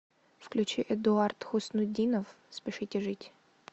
включи эдуард хуснутдинов спешите жить